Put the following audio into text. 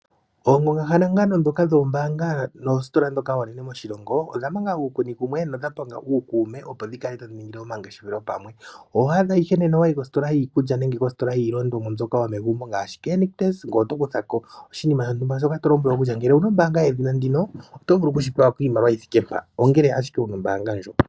Oongongahangano ndhoka dhoombaanga noositola ndhoka oonene moshilongo odha ninga uukuni kumwe nodha panga uukuume opo dhivule dhiningile omangeshefelo pamwe . Oho adha shike nena owayi kositola yiikulya nenge kositola yiilongomwa mbyoka yomegumbo ngaashi Nictus ngoye oto kuthako oshinima shontumba shoka to lombwelwa kutya ngele owuna ombaanga ndjino oto vulu okupewa iimaliwa yithike mpaka ngele ashike wuna ombaanga ndjoka.